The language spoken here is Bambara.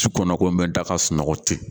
Sukɔnɔ ko n be da ga sunɔgɔ ten